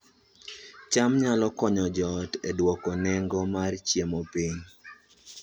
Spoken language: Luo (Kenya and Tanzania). cham nyalo konyo joot e dwoko nengo mar chiemo piny